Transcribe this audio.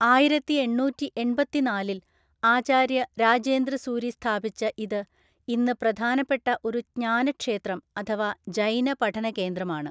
ആയിരത്തിഎണ്ണൂറ്റിഎണ്‍പത്തിനാലില്‍ ആചാര്യ രാജേന്ദ്രസൂരി സ്ഥാപിച്ച ഇത് ഇന്ന് പ്രധാനപ്പെട്ട ഒരു ജ്ഞാനക്ഷേത്രം അഥവാ ജൈന പഠനകേന്ദ്രമാണ്.